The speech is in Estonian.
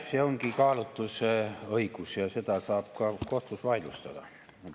See ongi kaalutlusõigus ja seda saab ka kohtus vaidlustada.